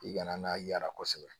I kana n'a yaala kosɛbɛ